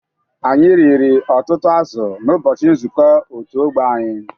Anyị riri ọtụtụ azụ̀ n'ụbọchị nzuko otu ọgbo anyị.